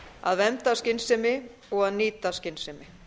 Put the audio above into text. að vernda af skynsemi og að nýta af skynsemi